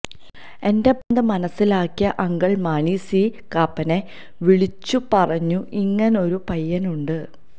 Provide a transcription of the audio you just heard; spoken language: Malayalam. എന്റെ ഭ്രാന്ത് മനസിലാക്കിയ അങ്കിള് മാണി സി കാപ്പനെ വിളിച്ചു പറഞ്ഞു ഇങ്ങനൊരു പയ്യനുണ്ട്